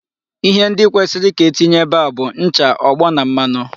Ihe ndị kwesịrị ka e tinye ebe a bụ ncha, ogbo na mmanụ.